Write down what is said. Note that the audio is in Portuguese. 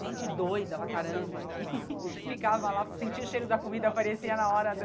Gente doida para caramba que ficava lá, sentia o cheiro da comida, aparecia na hora do...